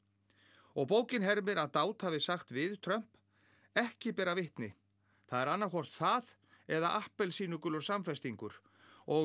og bókin hermir að Dowd hafi sagt við Trump ekki bera vitni það er annaðhvort það eða appelsínugulur samfestingur og